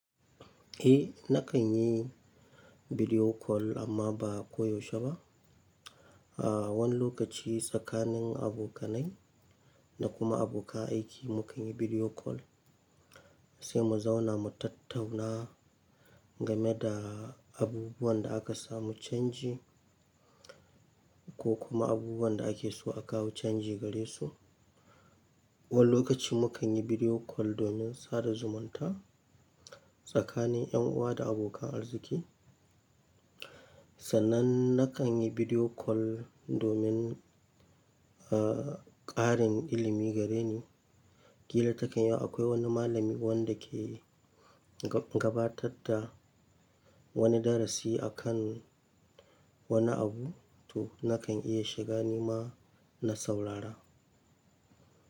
Eh, na kan yi bidiyo kol amma ba koyaushe ba. A wani lokaci tsakanin abokanai da kuma abokan aiki mu kan yi bidiyo kol sai mu zauna mu tattauna game da abubuwan da aka samu canji ko kuma abubuwan da ake so a kawo canji gare su. Wani lokaci mu kan yi bidiyo kol domin sada zumunta tsakanin yan uwa da abokan arziki. Sannan na kan yi bidiyo kol domin, ah, ƙarin ilimi gare ni. Ƙila takan yiwu akwai wani malami wanda ke gabatatta wani darasi a kan wani abu, to na kan iya shiga ni ma na saurara.